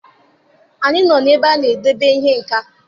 Anyị nọ n'ebe a na-edebe ihe nka.